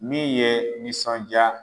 Min ye nisɔndiya